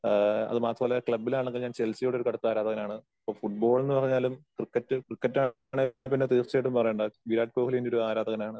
എന്റെ ഫുട്ബോൾ ടീമെന്ന് പറഞ്ഞാ അർജന്റീന ആണ്. ആ അത് മാത്രമല്ല ക്ലബിലാണെങ്കിൽ ഞാൻ ചെൽസിയോട് ഒരു കടുത്ത ആരാധകനാണ്. അപ്പോ ഫുട്ബോൾ എന്ന് പറഞ്ഞാലും ക്രിക്കറ്റ് ക്രിക്കറ്റ് ആണെങ്കിൽ പിന്നെ തീർച്ചയായിട്ടും വരേണ്ടതാണ്. വിരാട് കോഹ്‌ലി എന്റെ ഒരു ആരാധകനാണ്